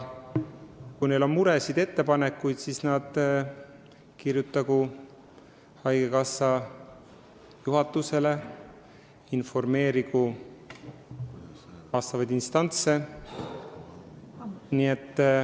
Kui neil on muresid ja ettepanekuid, siis nad võiksid kirjutada haigekassa juhatusele ja informeerida vastavaid instantse.